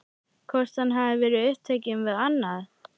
Hvort hann hafi verið upptekinn við annað?